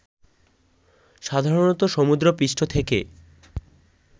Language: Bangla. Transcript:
সাধারণত সমুদ্রপৃষ্ঠ থেকে